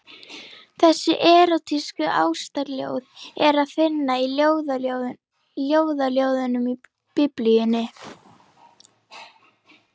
Þessi erótísku ástarljóð er að finna í Ljóðaljóðunum í Biblíunni.